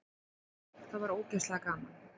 Það var ógeðslega gaman.